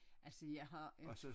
Altså jeg har ikke